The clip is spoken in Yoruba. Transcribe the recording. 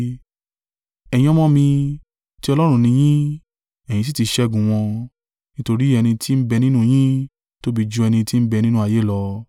Ẹ̀yin ọmọ mi, ti Ọlọ́run ni yín, ẹ̀yin sì tí ṣẹ́gun wọn, nítorí ẹni tí ń bẹ nínú yin tóbi jú ẹni tí ń bẹ nínú ayé lọ.